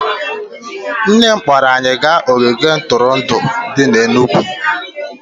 Nne m kpọọrọ anyị gaa ogige ntụrụndụ dị n'Enugwu